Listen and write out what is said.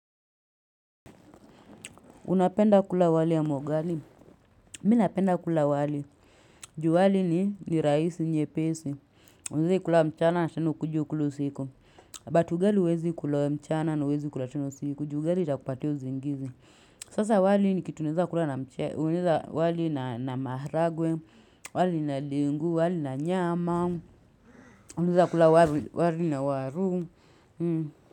Unapenda kula wali ama ugali? Minapenda kula wali. Ju wali ni raisi nyepesi. Unaweza ikula mchana na tena ukuje ukule usiku. But ugali huwezi kula mchana na huwezi kula tena usiku. Ju ugali itakupatia usingizi. Sasa wali nikitu naweza kula na mchele. Unaweza wali na maharagwe. Wali na ndengu. Wali na nyama. Unaweza kula wali na waru.